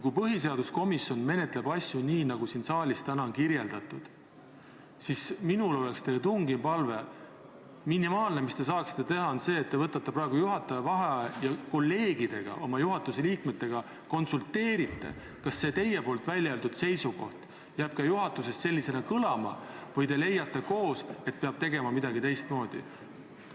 Kui põhiseaduskomisjon menetleb asju nii, nagu täna siin saalis on kirjeldatud, siis on minul teile tungiv palve: minimaalne, mis te teha saaksite, on see, et te võtate praegu juhataja vaheaja ja konsulteerite kolleegidega, oma juhatuse liikmetega, kas teie välja öeldud seisukoht jääb ka juhatuses sellisena kõlama või te leiate koos, et midagi peab tegema teistmoodi.